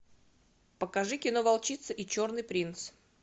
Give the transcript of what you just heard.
покажи кино волчица и черный принц